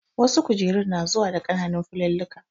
Wasu kujerun su na zuwa da ƙananun filulluka